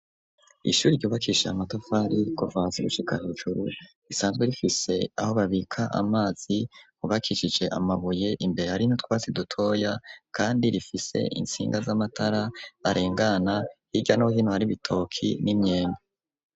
Ishuri, ryubakishije amatafari, kuva hasi, gushika hejuru, risanzwe rifise, aho babika amazi, hubakishije amabuye; imbere hari n'utwasi dutoya, kandi rifise intsinga z'amatara arengana, hirya no hino, hari ibitoki n'imyembe.